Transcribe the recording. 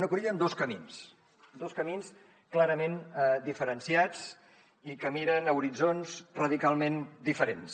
una cruïlla amb dos camins dos camins clarament diferenciats i que miren a horitzons radicalment diferents